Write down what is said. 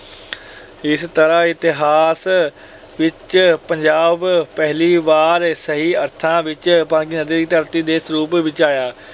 ਇਸ ਤਰ੍ਹਾਂ ਇਤਿਹਾਸ ਵਿੱਚ ਪੰਜਾਬ ਪਹਿਲੀ ਵਾਰ ਸਹੀ ਅਰਥਾਂ ਵਿੱਚ ਪੰਜ ਨਦੀਆਂ ਦੀ ਧਰਤੀ ਦੇ ਸਰੂਪ ਵਿੱਚ ਆਇਆ।